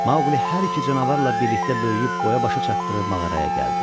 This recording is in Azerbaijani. Maquli hər iki canavarla birlikdə böyüyüb boya-başa çatdığı mağaraya gəldi.